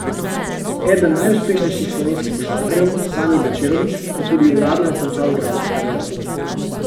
Eden najuspešnejših slovenskih košarkarjev, Sani Bečirović, je tudi uradno končal igralsko kariero.